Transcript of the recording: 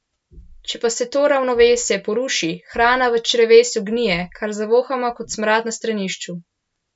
Če pa se to ravnovesje poruši, hrana v črevesju gnije, kar zavohamo kot smrad na stranišču.